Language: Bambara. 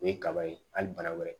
O ye kaba ye hali bana wɛrɛ